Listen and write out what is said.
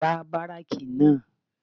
Gbá báráàkì náà